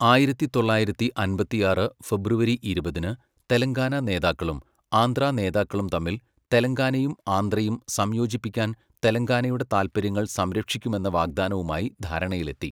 ആയിരത്തിത്തൊള്ളായിരത്തി അമ്പത്തിയാറ് ഫെബ്രുവരി ഇരുപതിന് തെലങ്കാന നേതാക്കളും ആന്ധ്രാ നേതാക്കളും തമ്മിൽ, തെലങ്കാനയും ആന്ധ്രയും സംയോജിപ്പിക്കാൻ തെലങ്കാനയുടെ താൽപ്പര്യങ്ങൾ സംരക്ഷിക്കുമെന്ന വാഗ്ദാനവുമായി ധാരണയിലെത്തി.